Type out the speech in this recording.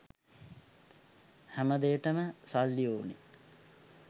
හැම දේටම සල්ලි ඕන.